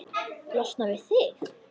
Losna við þig?